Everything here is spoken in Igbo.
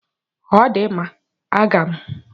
Ọ dị mma, a ga m.